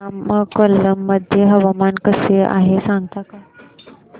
नमक्कल मध्ये हवामान कसे आहे सांगता का